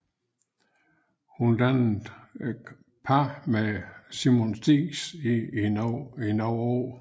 Hun dannede par med Simon Spies i nogle år